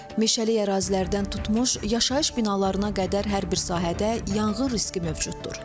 Meşəlik ərazilərdən tutmuş yaşayış binalarına qədər hər bir sahədə yanğın riski mövcuddur.